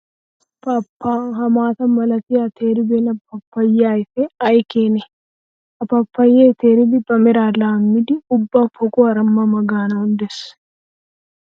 Pa pa! Ha maata malatiya teeribeenna paappayiya ayfe ay keene! Ha pappaye teeriddi ba mera laamiddi ubba poqquwara ma ma gaanawu de'ees.